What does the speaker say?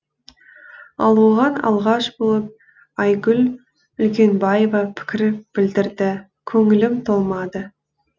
ал оған алғаш болып айгүл үлкенбаева пікір білдірді көңілім толмады